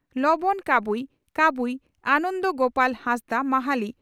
ᱞᱚᱸᱵᱚᱱ ᱠᱟᱵᱩᱭ (ᱠᱟᱵᱩᱭ) ᱟᱱᱚᱱᱫᱚ ᱜᱚᱯᱟᱞ ᱦᱟᱸᱥᱫᱟ (ᱢᱟᱦᱟᱞᱤ)